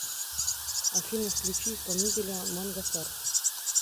афина включи исполнителя манга стар